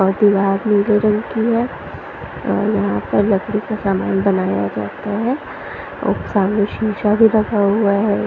नीले रंग की है और यहाँ पर लकड़ी का सामान बनाया जाता है और सामने शीशा भी रखा हुआ है।